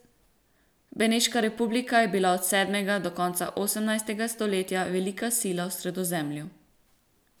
Beneška republika je bila od sedmega do konca osemnajstega stoletja velika sila v Sredozemlju.